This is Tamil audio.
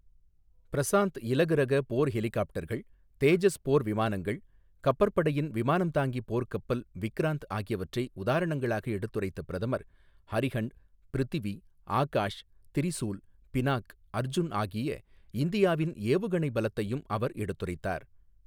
பிரசாந்த் இலகு ரக போர் ஹெலிகாப்டர்கள், தேஜஸ் போர் விமானங்கள், கப்பற்படையின் விமானம் தாங்கி போர்க்கப்பல் விக்ராந்த்ஆகியவற்றை உதாரணங்களாக எடுத்துரைத்த பிரதமர் அரிஹண்ட், பிருத்வி, ஆகாஷ், திரிசூல், பினாக், அர்ஜுன் ஆகிய இந்தியாவின் ஏவுகணை பலத்தையும் அவர் எடுத்துரைத்தார்.